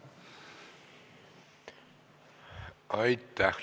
Aitäh!